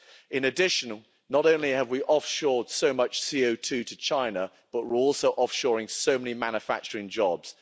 In addition, not only have we offshored so much CO2 to China, but we are also offshoring so many manufacturing jobs.